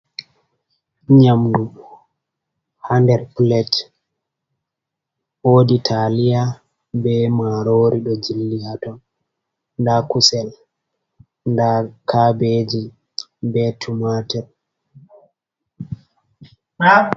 Nyamdu hader plate wodi taliya be marori do jilli haton, da kusel da kabeji be tumatir.